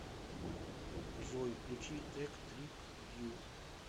джой включи тек трип вью